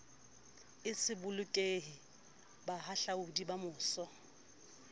e se bolokehe bahahlaodi bamose